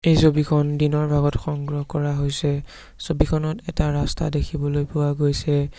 এই ছবিখন দিনৰ ভাগত সংগ্ৰহ কৰা হৈছে ছবিখনত এটা ৰাস্তা দেখিবলৈ পোৱা গৈছে।